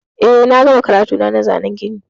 Eh, na gama karatuna na zanan gini.